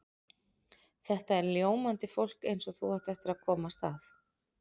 Þetta er ljómandi fólk eins og þú átt eftir að komast að.